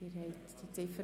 Abstimmung (Ziff.